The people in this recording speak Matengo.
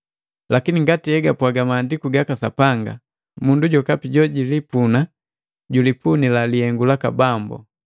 Lakini ngati egapwaga Maandiku gaka Sapanga, “Mundu jokapi jojikipunila jikipunila lihengo laka Bambu.”